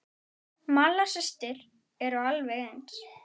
Malla systir eru alveg eins.